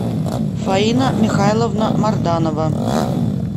фаина михайловна морданова